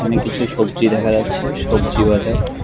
এখানে কিছু সবজি দেখা যাচ্ছে সবজি বাজার।